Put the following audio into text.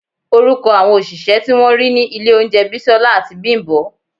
Orúkọ àwọn òṣìṣẹ́ tí wọ́n rí ní ilé oúnjẹ Bisola àti Bimbo